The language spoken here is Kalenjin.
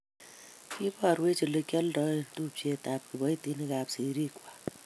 kiiborwech okilionde tupchetab kiboitinik ak serikwak